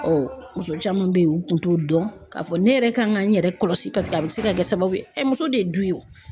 muso caman bɛ ye u kun t'o dɔn k'a fɔ ne yɛrɛ kan ka n yɛrɛ kɔlɔsi paseke a bɛ se ka kɛ sababu ye muso de ye du ye o.